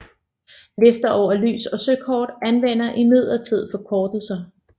Lister over lys og søkort anvender imidlertid forkortelser